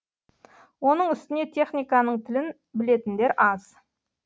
оның үстіне техниканың тілін білетіндер аз